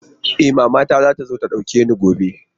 E, mamata za ta zo ta ɗauke ni gobe.